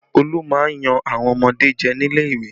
Olu máa ń yan àwọn ọmọdé jẹ nílé ìwé